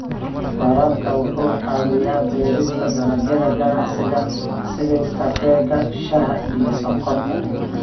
Waraabka wuxuu caawiyaa beerista dalagyada ganacsiga sida kafeega, shaaha, iyo sonkorta.